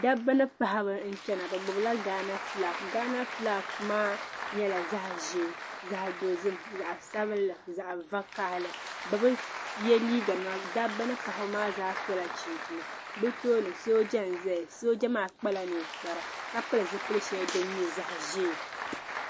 Daba ni paɣaba n chana, bɛ gbubi la ghana flag ghana flag maa nyɛla zaɣi ʒɛɛ, zaɣi dozim. zaɣi sabinli. zaɣi vakahali bɛbi ye liiga nima, paɣiba ni daba maa zaa sola chinchina bɛ tooni sooja n ʒɛya sooja maa kpala ninkpara ka pili zipili sheli din nyɛ zaɣi ʒɛɛ